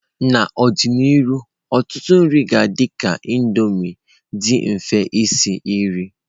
N'ọdịnihu ọtụtụ nri ga-adị ka Indomie, dị mfe isi nri.